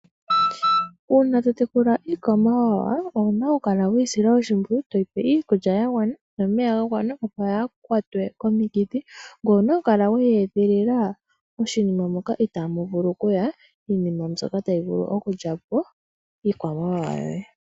Uuna to tekula iikwamawawa pwuna onukala weyi sila oshimpwiyu, toyi pe iikulya ya gwana nomeya ga gwana, opo yaa kwatwe komikithi. Ngoye owuna okukala weyi edhilila moshinima moka itamu vulu kuya iinima mbyoka tayi vulu okulyapo iikwamawawa yoye.